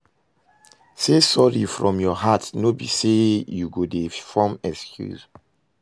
Say sori from your heart no be say you go dey form excuse